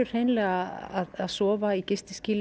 hreinlega að sofa í